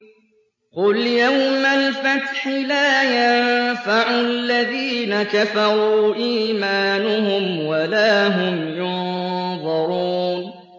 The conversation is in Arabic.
قُلْ يَوْمَ الْفَتْحِ لَا يَنفَعُ الَّذِينَ كَفَرُوا إِيمَانُهُمْ وَلَا هُمْ يُنظَرُونَ